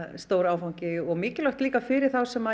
stór áfangi og mikilvægt líka fyrir þá sem